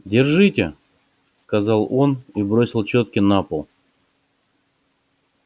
держите сказал он и бросил чётки на пол